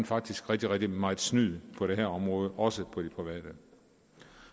faktisk rigtig rigtig meget snyd på det her område også på det private